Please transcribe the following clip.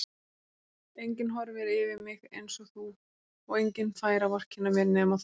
Enginn horfir yfir mig einsog þú og enginn fær að vorkenna mér nema þú.